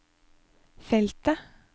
feltet